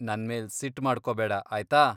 ನನ್ಮೇಲ್ ಸಿಟ್ಟ್ ಮಾಡ್ಕೋಬೇಡ ಆಯ್ತಾ?